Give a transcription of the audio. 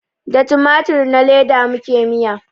Da tumatur na leda muke miya